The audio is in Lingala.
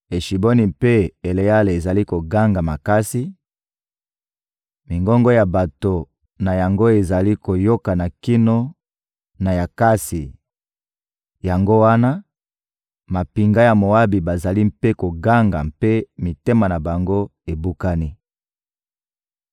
Eshiboni mpe Eleale ezali koganga makasi, mingongo ya bato na yango ezali koyokana kino na Yakatsi; yango wana, mampinga ya Moabi bazali mpe koganga mpe mitema na bango ebukani.